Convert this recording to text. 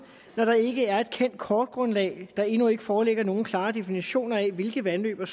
når der ikke er kendt kortgrundlag og der endnu ikke foreligger nogen klare definitioner af hvilke vandløb og